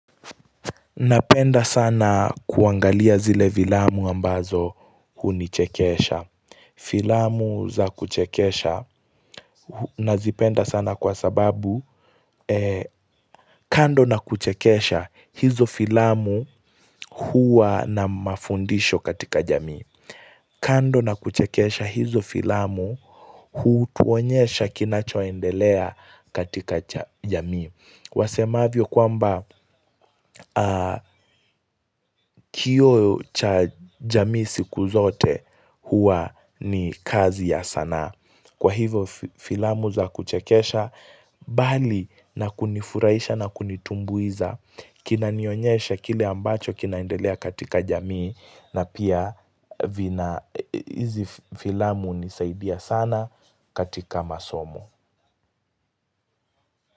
Napenda sana kuangalia zile filamu ambazo hunichekesha. Filamu za kuchekesha nazipenda sana kwa sababu kando na kuchekesha hizo filamu huwa na mafundisho katika jamii. Kando na kuchekesha hizo filamu hutuonyesha kinachoendelea katika jamii. Wasemavyo kwamba kioo cha jamii siku zote huwa ni kazi ya sanaa. Kwa hivo filamu za kuchekesha bali na kunifuraisha na kunitumbuiza kina nionyeshe kile ambacho kinaendelea katika jamii na pia vina hizi filamu hunisaidia sana katika masomo.